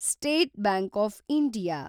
state bank of India